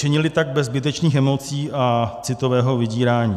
Čili tak bez zbytečných emocí a citového vydírání.